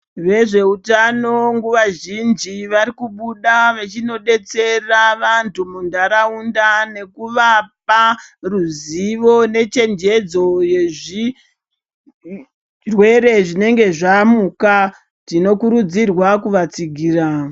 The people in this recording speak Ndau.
Vezveutano nguva zhinji varikubuda vechinodetsera vantu muntaraunda nekuvapa ruzivo nechenjedzo yezvirwere zvinenge zvamuka tinokurudzirwa kuvatsigira.